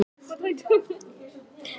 Mér er of heitt til að vita hvor sigrar.